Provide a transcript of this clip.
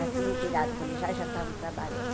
Já tinham tirado o colegial e já estavam trabalhando.